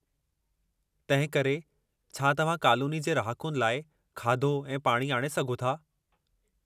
तंहिं करे, छा तव्हां कालोनी जे रहाकुनि लाइ खाधो ऐं पाणी आणे सघो था।